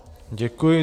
Děkuji.